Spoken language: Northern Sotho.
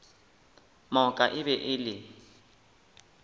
moka e be e le